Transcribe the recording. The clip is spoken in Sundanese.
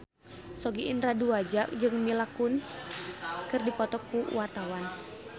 Sogi Indra Duaja jeung Mila Kunis keur dipoto ku wartawan